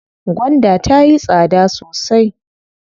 Gwanda tayi tsada sosai.